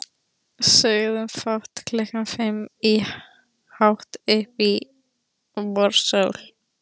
Sögðum fátt klukkan fimm í hátt uppi vorsól.